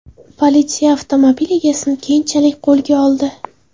Politsiya avtomobil egasini keyinchalik qo‘lga oldi.